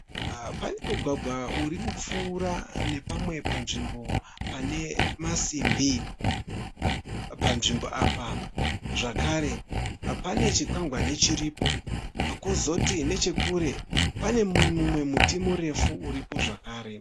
Pane mugwagwa uri kupfuura nepamwe panzvimbo pane masimbi. Panzvimbo apa zvakare pane chikwangwani chiripo. Kozoti nechekure pane mumwe muti murefu uriko zvakare.